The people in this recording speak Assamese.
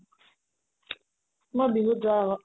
মই বিহুত যোৱাৰ আগত